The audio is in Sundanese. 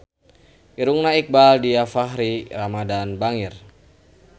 Irungna Iqbaal Dhiafakhri Ramadhan bangir